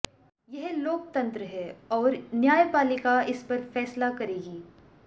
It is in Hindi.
यह लोकतंत्र है और न्यायपालिका इस पर फैसला करेगी